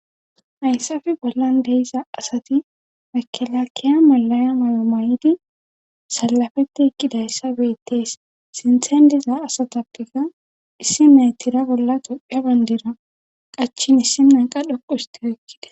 hayssafe bollan de'iza asati makelakkiya malaya mayo mayidi salafette eqqidayssa bettees sinthen diza asatappekka issi nay tira bolla topphia bayndira qachin issi nay qa dhoqu hsti oykkids